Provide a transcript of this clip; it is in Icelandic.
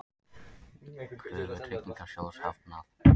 Kröfu Tryggingasjóðs hafnað